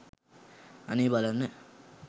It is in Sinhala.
අනේ බලන්න